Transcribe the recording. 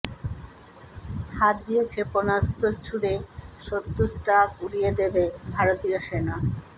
হাত দিয়ে ক্ষেপণাস্ত্র ছুড়ে শত্রু ট্যাঙ্ক উড়িয়ে দেবে ভারতীয় সেনা